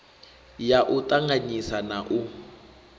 ya u ṱanganyisa na u